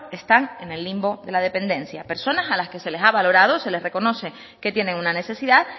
están en el limbo de la dependencia personas a las que se le ha valorado se les reconoce que tienen una necesidad